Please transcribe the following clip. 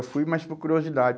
Eu fui, mas por curiosidade.